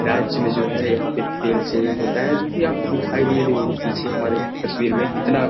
राज्ये में जो है यहां पे तेल शेविंग होता है जो की आपको दिखाई दे रही होगी पीछे हमारी तस्वीर में कितना --